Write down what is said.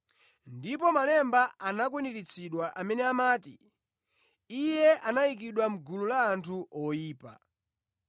(Ndipo malemba anakwaniritsidwa amene amati, “Iye anayikidwa mʼgulu la anthu oyipa).”